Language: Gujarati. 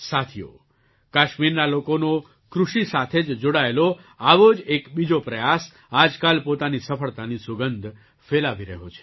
સાથીઓ કાશ્મીરના લોકોનો કૃષિ સાથે જ જોડાયેલો આવો જ એક બીજો પ્રયાસ આજકાલ પોતાની સફળતાની સુગંધ ફેલાવી રહ્યો છે